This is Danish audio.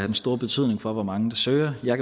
den store betydning for hvor mange der søger jeg